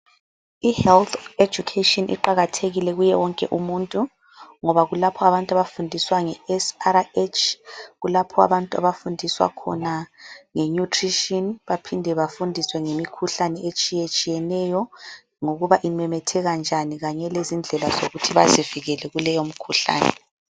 Ihealth education iqakathekile kuye wonke umuntu ngoba kulapho abantu abafundiswa ngeSRH, kulapho abantu abafundiswa khona ngenutrition baphinde bafundiswe ngemikhuhlane etshiyetshiyeneyo ngokuba imemetheka njani kanye lezindlela zokuthi bazivikele kuleyo mkhuhlane.